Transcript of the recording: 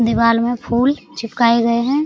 दीवार में फूल चिपकाए गए हैं।